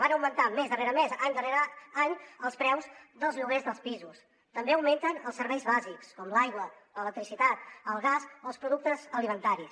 van augmentant mes darrere mes any darrere any els preus dels lloguers dels pisos també augmenten els serveis bàsics com l’aigua l’electricitat el gas o els productes alimentaris